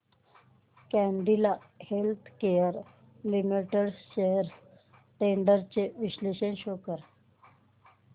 Cadila healthcare limited shares trends चे विश्लेषण show कर